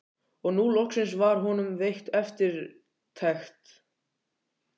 Og nú loksins var honum veitt eftirtekt.